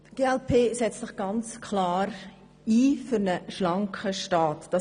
Die glp setzt sich klar für einen schlanken Staat ein.